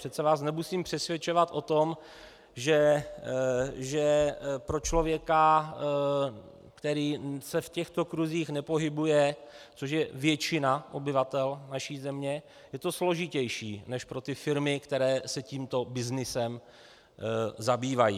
Přece vás nemusím přesvědčovat o tom, že pro člověka, který se v těchto kruzích nepohybuje, což je většina obyvatel naší země, je to složitější než pro ty firmy, které se tímto byznysem zabývají.